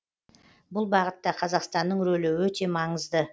бұл бағытта қазақстанның рөлі өте маңызды